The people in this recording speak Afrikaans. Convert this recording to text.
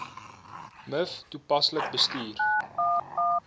miv toepaslik bestuur